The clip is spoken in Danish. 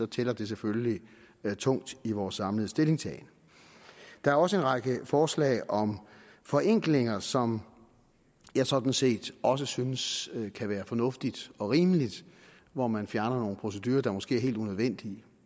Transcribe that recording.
tæller det selvfølgelig tungt i vores samlede stillingtagen der er også en række forslag om forenklinger som jeg sådan set også synes kan være fornuftige og rimelige og hvor man fjerner nogle procedurer der måske er helt unødvendige